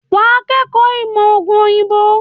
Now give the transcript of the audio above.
Wà á kọ́ ẹ̀kọ́ ìmọ̀ òògùn òyìnbó.